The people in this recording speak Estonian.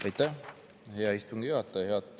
Aitäh, hea istungi juhataja!